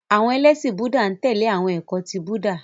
Àwọn ẹlẹ́ṣin Búúdà n tẹ̀lé awọn ẹkọ ti Búúdà.